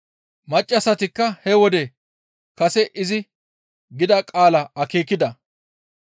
Maccassatikka he wode kase izi gida qaalaa akeekida.